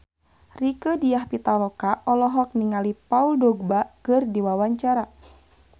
Rieke Diah Pitaloka olohok ningali Paul Dogba keur diwawancara